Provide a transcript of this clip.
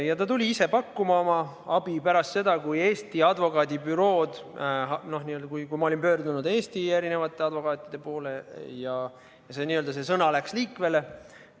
Ja ta tuli ise pakkuma oma abi pärast seda, kui ma olin pöördunud Eesti erinevate advokaatide poole ja n-ö sõna läks liikvele.